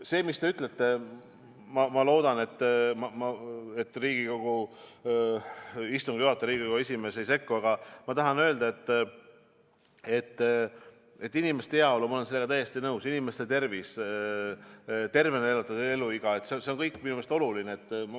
See, mis te ütlete – ma loodan, et Riigikogu istungi juhataja, Riigikogu esimees ei sekku –, aga ma tahan öelda, et ma olen täiesti nõus, et inimeste heaolu, inimeste tervis, tervena elatud eluiga – see kõik on minu meelest oluline.